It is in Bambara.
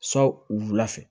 Sɔn wula fɛ